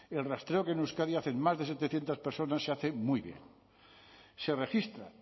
el rastreo que en euskadi hacen más de setecientos personas se hace muy bien se registra